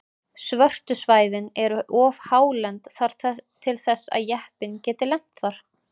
Svörtu svæðin eru of hálend til þess að jeppinn geti lent þar.